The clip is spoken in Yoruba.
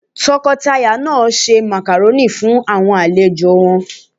Tọkọtaya náà ṣe Màkàrónì fún àwọn àlejò won